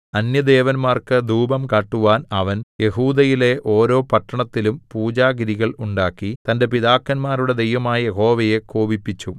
അന്യദേവന്മാർക്ക് ധൂപം കാട്ടുവാൻ അവൻ യെഹൂദയിലെ ഓരോ പട്ടണത്തിലും പൂജാഗിരികൾ ഉണ്ടാക്കി തന്റെ പിതാക്കന്മാരുടെ ദൈവമായ യഹോവയെ കോപിപ്പിച്ചു